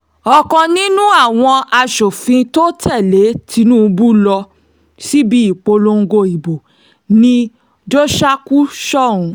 ọ̀kan nínú àwọn aṣòfin tó tẹ̀lé tìǹbù lọ síbi ìpolongo ìbò ni jóṣákù sọ́hùn